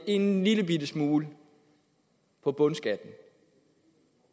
en lillebitte smule på bundskatten